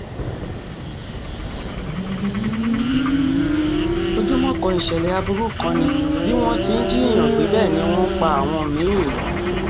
ojúmọ́ kan ìṣẹ̀lẹ̀ aburú kan ni bí wọ́n ti ń jiyàn gbé bẹ́ẹ̀ ni wọ́n ń pa àwọn mí-ín